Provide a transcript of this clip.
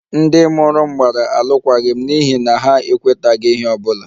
Ndị mụrụ m gbara alụkwaghịm n'ihi na ha ekwetaghị ihe ọ bụla